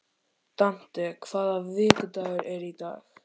Dante, hvaða vikudagur er í dag?